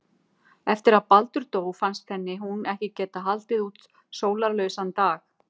Eftir að Baldur dó fannst henni hún ekki geta haldið út sólarlausan dag.